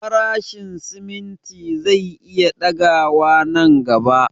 Farashin simimti zai iya ɗaga wa nan gaba